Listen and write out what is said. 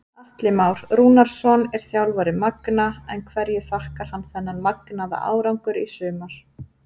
Atli Már Rúnarsson er þjálfari Magna en hverju þakkar hann þennan magnaða árangur í sumar?